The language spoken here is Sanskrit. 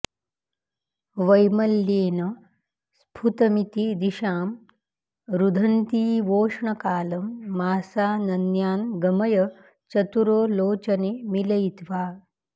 वैमल्येन स्फुतमिति दिशां रुन्धतीवोष्णकालं मासानन्यान्गमय चतुरो लोचने मीलयित्वा